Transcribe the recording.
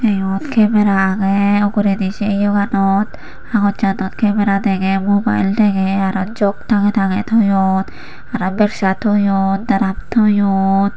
yot kemera agey uguredi se yoganot habossanot kemera dege mubael dege arow jog tange tange toyon arow bersa toyon daram toyon.